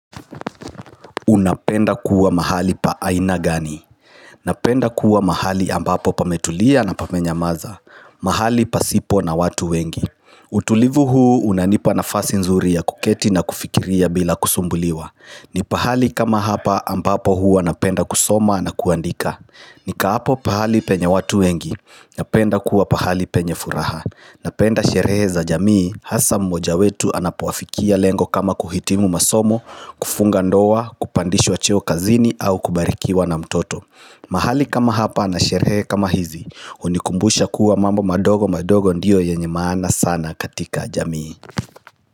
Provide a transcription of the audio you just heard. Unapenda kuwa mahali pa aina gani? Napenda kuwa mahali ambapo pametulia na pamenyamaza. Mahali pasipo na watu wengi. Utulivu huu unanipa nafasi nzuri ya kuketi na kufikiria bila kusumbuliwa. Ni pahali kama hapa ambapo huwa napenda kusoma na kuandika. Nikaapo pahali penya watu wengi Napenda kuwa pahali penye furaha. Napenda sherehe za jamii hasa mmoja wetu anapoafikia lengo kama kuhitimu masomo, kufunga ndoa, kupandishwa cheo kazini au kubarikiwa na mtoto. Mahali kama hapa na sherehe kama hizi unikumbusha kuwa mambo madogo madogo ndiyo yenye maana sana katika jamii.